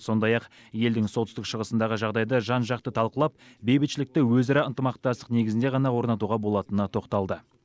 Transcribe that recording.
сондай ақ елдің солтүстік шығысындағы жағдайды жан жақты талқылап бейбітшілікті өзара ынтымақтастық негізінде ғана орнатуға болатынына тоқталды